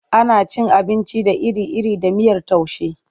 Ana cin abinci da iri-iri da miyar taushe.